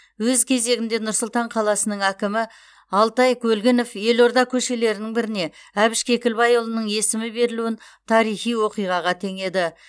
өз кезегінде нұр сұлтан қаласының әкімі алтай көлгінов елорда көшелерінің біріне әбіш кекілбайұлының есімі берілуін тарихи оқиғаға теңеді